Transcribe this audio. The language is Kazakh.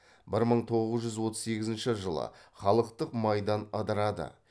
бір мың тоғыз жүз отыз сегізінші жылы халықтық майдан ыдырады